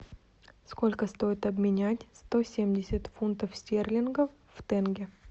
сколько стоит обменять сто семьдесят фунтов стерлингов в тенге